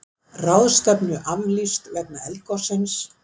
Ráðstefnu aflýst vegna eldgossins